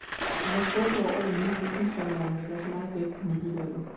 Han er skuffet over, at det nye bygningsreglement lægger så meget vægt på nybyggeriet.